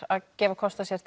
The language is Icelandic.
að gefa kost á sér